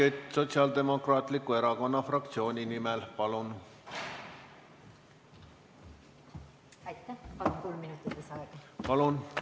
Helmen Kütt Sotsiaaldemokraatliku Erakonna fraktsiooni nimel, palun!